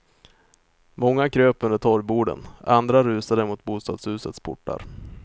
Många kröp under torgborden, andra rusade mot bostadshusens portar.